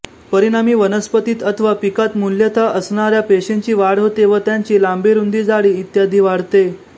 परिणामी वनस्पतीत अथवा पिकात मूलतः असणाऱ्या पेशींची वाढ होते व त्यांची लांबीरुंदीजाडी इत्यादी वाढते